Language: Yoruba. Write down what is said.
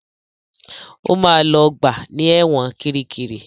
Ó máa lògbà ní ẹ̀wọ̀n Kiríkirì.